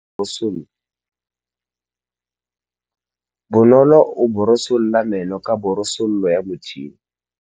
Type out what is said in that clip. Bonolô o borosola meno ka borosolo ya motšhine.